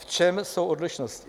V čem jsou odlišnosti?